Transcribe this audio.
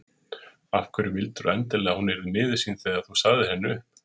Af hverju vildirðu endilega að hún yrði miður sín þegar þú sagðir henni upp?